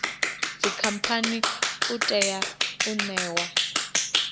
dzikhamphani u tea u ṋewa